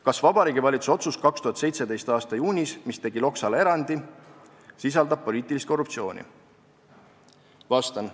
Kas Vabariigi Valitsuse otsus 2017. a juunis, mis tegi Loksale erandi , sisaldab poliitilist korruptsiooni?